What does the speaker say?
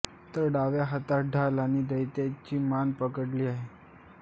तर डाव्या हातात ढाल आणि दैत्याची मान पकडलेली आहे